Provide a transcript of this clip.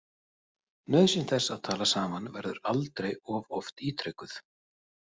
Nauðsyn þess að tala saman verður aldrei of oft ítrekuð.